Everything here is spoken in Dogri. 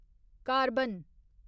कार्बन